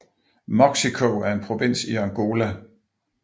Moxico er en provins i Angola